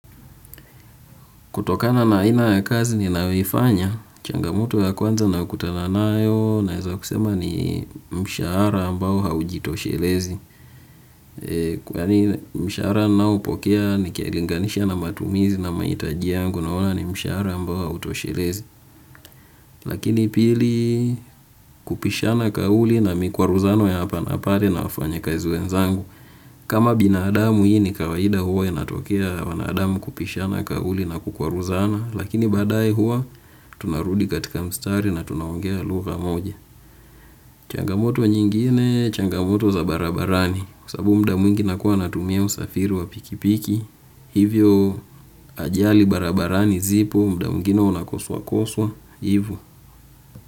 Kutokana na aina ya kazi ninayoifanya, changamoto ya kwanza naokutana nayo naeza kusema ni mshahara ambao haujitoshelezi. Kwani mshahara ninaoupokea nikilinganisha na matumizi na mahitajia yangu naoana ni mshahara ambao hautoshelezi. Lakini pili kupishana kauli na mikwaruzano ya hapa na pale na wafanyikazi wenzangu. Kama binadamu hii ni kawaida huwa inatokea wanadamu kupishana kauli na kukwaruzana. Lakini baadaye huwa tunarudi katika mstari na tunaongea lugha moja. Changamoto nyingine changamoto za barabarani kwa sababu muda mwingi nakuwa natumia usafiri wa pikipiki hivyo ajali barabarani zipo muda mwingine unakoswa koswa. Hivyo.